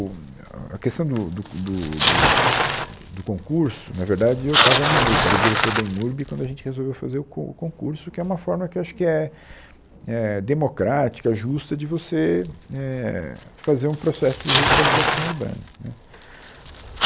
O um é a questão do do co do do eh do concurso, na verdade, eu estava na EMURB, era diretor da EMURB quando a gente resolveu fazer o co o concurso, que é uma forma que eu acho que é é democrática, justa de você éh fazer um processo de revitalização urbana, né